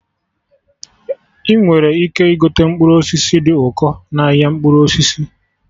Ị nwere ike igote mkpụrụ osisi dị ụkọ n'ahịa mkpụrụ osisi